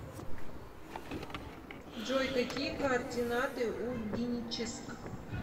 джой какие координаты у геническ